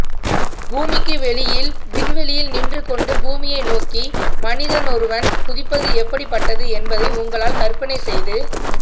பூமிக்கு வெளியில் விண்வெளியில் நின்று கொண்டு பூமியை நோக்கி மனிதனொருவன் குதிப்பது எப்படிப்பட்டது என்பதை உங்களால் கற்பனை செய்து